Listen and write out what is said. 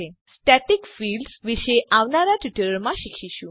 આપણે static fields વિશે આવનારા ટ્યુટોરીયલોમાં શીખીશું